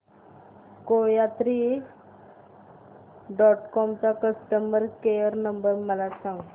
कोयात्री dot com चा customer care number मला सांगा